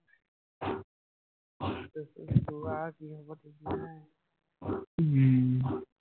উম